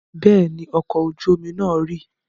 Bẹ́ẹ̀ ni, ọkọ̀ ojú-omi náà rì.